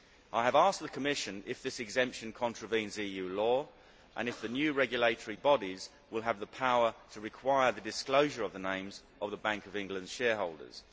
I have asked the Commission if this exemption contravenes EU law and if the new regulatory bodies will have the power to require the disclosure of the names of the Bank of England's shareholders.